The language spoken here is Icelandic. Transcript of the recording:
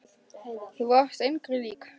Þú varst engri lík.